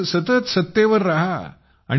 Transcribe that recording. तुम्हीच सतत सत्तेवर राहा